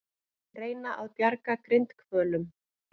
Reyna að bjarga grindhvölum